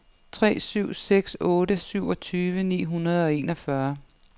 tre syv seks otte syvogtyve ni hundrede og enogfyrre